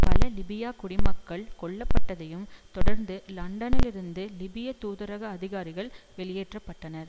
பல லிபியாக் குடிமக்கள் கொல்லப்பட்டதையும் தொடர்ந்து லண்டனிலிருந்து லிபிய தூதரக அதிகாரிகள் வெளியேற்ற பட்டனர்